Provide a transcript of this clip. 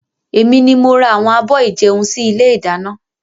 Èmi ni mo ra àwọn abọ́ ìjẹun sì ilé ìdáná.